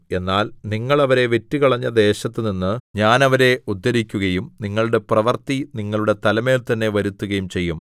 എന്നാൽ നിങ്ങൾ അവരെ വിറ്റുകളഞ്ഞ ദേശത്തുനിന്ന് ഞാൻ അവരെ ഉദ്ധരിക്കുകയും നിങ്ങളുടെ പ്രവൃത്തി നിങ്ങളുടെ തലമേൽ തന്നെ വരുത്തുകയും ചെയ്യും